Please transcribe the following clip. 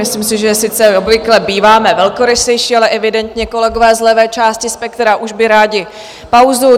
Myslím si, že sice obvykle býváme velkorysejší, ale evidentně kolegové z levé části spektra už by rádi pauzu.